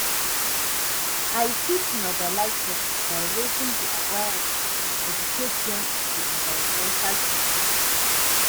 I fit mobilize dem by raising di awareness and educate dem on di environmental issues.